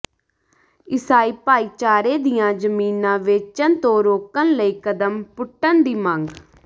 ਇਸਾਈ ਭਾਈਚਾਰੇ ਦੀਆਂ ਜ਼ਮੀਨਾਂ ਵੇਚਣ ਤੋਂ ਰੋਕਣ ਲਈ ਕਦਮ ਪੁੱਟਣ ਦੀ ਮੰਗ